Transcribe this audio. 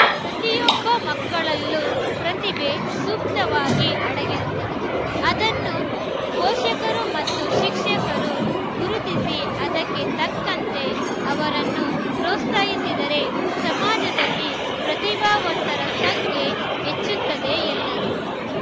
ಪ್ರತಿಯೊಬ್ಬ ಮಕ್ಕಳಲ್ಲೂ ಪ್ರತಿಭೆ ಸುಪ್ತವಾಗಿ ಅಡಗಿರುತ್ತದೆ ಅದನ್ನು ಪೋಷಕರು ಮತ್ತು ಶಿಕ್ಷಕರು ಗುರುತಿಸಿ ಅದಕ್ಕೆ ತಕ್ಕಂತೆ ಅವರನ್ನು ಪ್ರೋತ್ಸಾಹಿಸಿದರೆ ಸಮಾಜದಲ್ಲಿ ಪ್ರತಿಭಾವಂತರ ಸಂಖ್ಯೆ ಹೆಚ್ಚುತ್ತದೆ ಎಂದರು